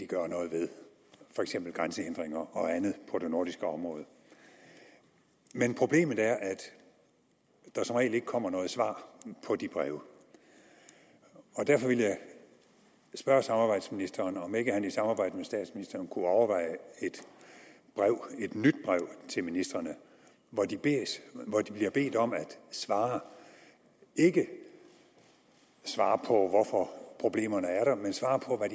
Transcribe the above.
gøre noget ved for eksempel grænsehindringer og andet på det nordiske område men problemet er at der som regel ikke kommer noget svar på de breve og derfor vil jeg spørge samarbejdsministeren om ikke han i samarbejde med statsministeren kunne overveje et nyt brev til ministrene hvor de bliver bedt om at svare ikke svare på hvorfor problemerne er der men svare på